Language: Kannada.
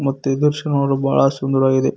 ಮತ್ತು ಈ ದೃಶ್ಯ ನೋಡಲು ಬಹಳ ಸುಂದರವಾಗಿದೆ.